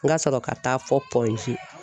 N ka sɔrɔ ka taa fɔ